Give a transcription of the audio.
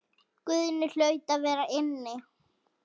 Guðni hlaut að vera inni.